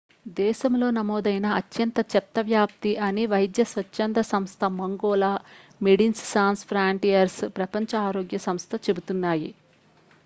దేశంలో నమోదైన అత్యంత చెత్త వ్యాప్తి అని వైద్య స్వచ్ఛంద సంస్థ మంగోల మెడిన్స్ సాన్స్ ఫ్రాంటియర్స్ ప్రపంచ ఆరోగ్య సంస్థ చెబుతున్నాయి